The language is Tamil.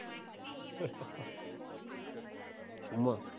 சும்மா.